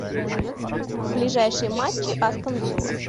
ближайшие матчи астон вилла